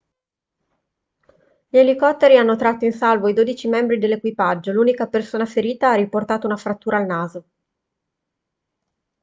gli elicotteri hanno tratto in salvo i dodici membri dell'equipaggio l'unica persona ferita ha riportato una frattura al naso